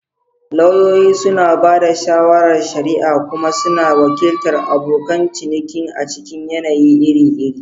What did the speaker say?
Lauyoyi suna ba da shawarar shari'a kuma suna wakiltar abokan ciniki a cikin yanayi iri-iri.